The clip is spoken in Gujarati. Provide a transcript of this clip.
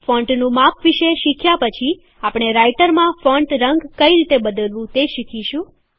ફૉન્ટનું માપ વિશે શીખ્યા પછી આપણે રાઈટરમાં ફોન્ટ રંગ કઈ રીતે બદલવું તે શીખીશું